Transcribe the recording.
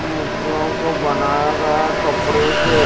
मूर्तियों को बनाया गया हैं कपड़े से--